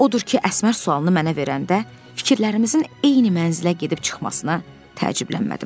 Odur ki, Əsmər sualını mənə verəndə fikirlərimizin eyni mənzilə gedib çıxmasına təəccüblənmədim.